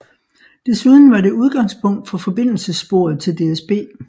Desuden var det udgangspunkt for forbindelsessporet til DSB